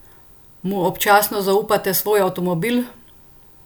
Mu občasno zaupate svoj avtomobil?